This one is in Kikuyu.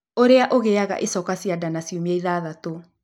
ũrĩa ũngĩgĩa na ĩcoka cia nda na ciumia ithathatũ